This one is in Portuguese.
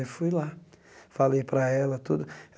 Aí fui lá, falei para ela tudo.